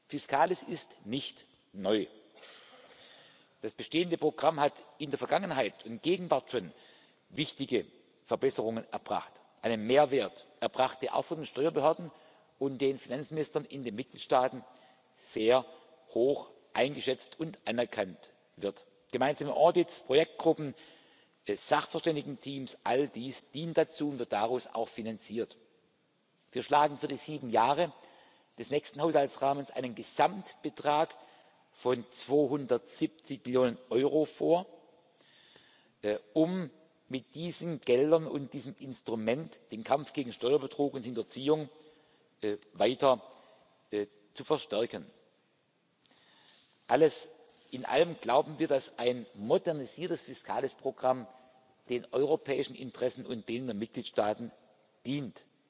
vorbereiten. Fiscalis ist nicht neu. Das bestehende Programm hat in der Vergangenheit und in der Gegenwart schon wichtige Verbesserungen erbracht, einen Mehrwert erbracht, der auch von den Steuerbehörden und den Finanzministern in den Mitgliedstaaten als sehr hoch eingeschätzt und anerkannt wird. Gemeinsame Audits, Projektgruppen, Sachverständigenteams all dies gehört dazu und wird daraus auch finanziert. Wir schlagen für die sieben Jahre des nächsten Haushaltsrahmens einen Gesamtbetrag von 270 Millionen Euro vor, um mit diesen Geldern und diesem Instrument den Kampf gegen Steuerbetrug und —hinterziehung weiter zu verstärken. Alles in allem glauben wir, dass ein modernisiertes Fiscalis Programm den europäischen Interessen und denen der